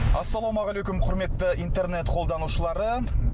ассалаумағалейкум құрметті интернет қолданушылары